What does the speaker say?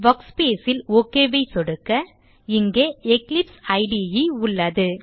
workspace ல் Ok ஐ சொடுக்க இங்கே எக்லிப்ஸ் இடே உள்ளது